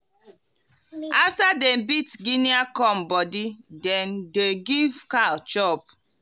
after dem beat guinea corn body dem dey give cow chop.